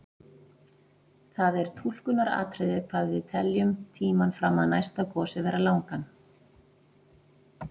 Það er túlkunaratriði hvað við teljum tímann fram að næsta gosi vera langan.